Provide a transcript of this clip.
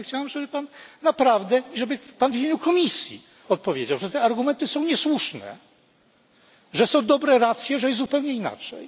Ale chciałbym, żeby Pan naprawdę i żeby Pan w imieniu Komisji odpowiedział, że te argumenty są niesłuszne, że są dobre racje, że jest zupełnie inaczej.